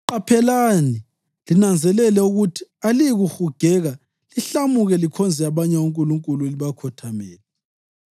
Qaphelani linanzelele ukuthi aliyikuhugeka lihlamuke likhonze abanye onkulunkulu libakhothamele.